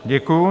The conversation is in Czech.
Děkuju.